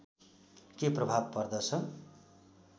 के प्रभाव पर्दछ